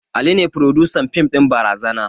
Ali ne frodusan fim ɗin barazana